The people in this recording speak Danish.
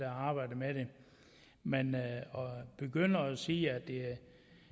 arbejdet med det men at begynde at sige at det